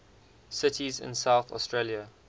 cities in south australia